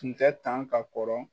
Tun tɛ tan ka kɔrɔ